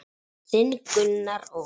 Þinn Gunnar Óli.